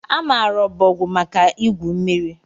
A maara ọbọgwụ maka igwu mmiri